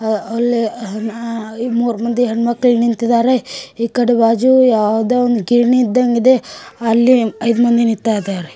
ಅಲ್ಲಿ ಅ ಮೂರ್ ಮಂದಿ ಹೆಣ್ಮಕ್ಳು ನಿಂತಿದ್ದಾರೆಈ ಕಡೆ ಬಾಜು ಯಾವುದೋ ಒಂದು ಗಿರಣಿ ಇದ್ದಂಗಿದೆ ಅಲ್ಲಿ ಐದು ಮಂದಿ ನಿಂತಿದ್ದಾರೆ